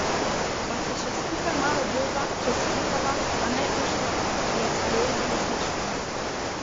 Pa se še skupaj malo bojva, če si upava, a ne, Uško, me je sprejel z nasmeškom.